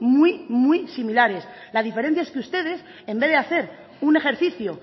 muy muy similares la diferencia es que ustedes en vez de hacer un ejercicio